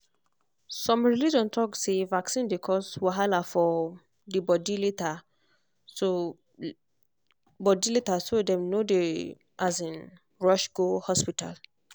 some religion talk say vaccine dey cause wahala for um body later so body later so dem no dey um rush go hospital